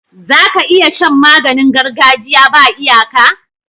Zaka iya Shan maganin gargajiya ba iyaka